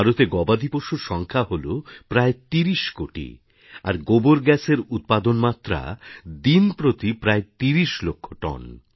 ভারতে গবাদি পশুর সংখ্যা হল প্রায় ৩০ কোটি আর গোবর গ্যাসের উৎপাদনমাত্রা দিনপ্রতি প্রায় ৩০ লক্ষ টন